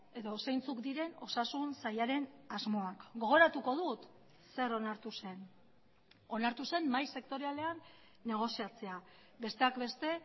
edo zeintzuk diren osasun sailaren asmoak gogoratuko dut zer onartu zen onartu zen mahai sektorialean negoziatzea besteak beste